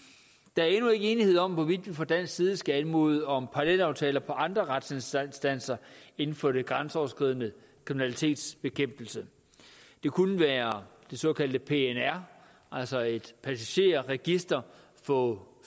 der er endnu ikke enighed om hvorvidt vi fra dansk side skal anmode om parallelaftaler på andre retsinstanser inden for den grænseoverskridende kriminalitetsbekæmpelse det kunne være det såkaldte pnr altså et passagerregister over